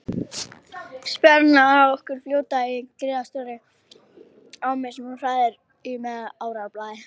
Spjarirnar af okkur fljóta í gríðarstórri ámu sem hún hrærir í með árarblaði.